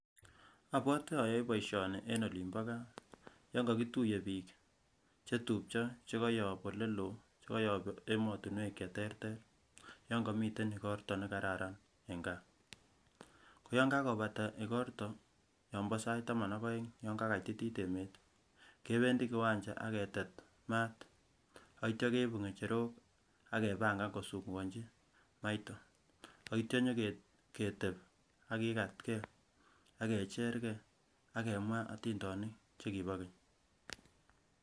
Obwote oyoe boishoni en olin bo gaa, yon kokituye bik chetupcho chekoyop ole loo chekoyob emotinwek cheterter yon komii igorto nekarakan en gaa, ko yon kakobata igorto yon bo sait taman ak oeng yon kakatitit emet kebendi kiwancha ak ketet maat ak ityo keibu ngecherok ak kebankan kosungukonchi maiton, ak ityo inyo ketep ak kikatge ak kecher gaa ak kemwaa otindonik chekibo keny.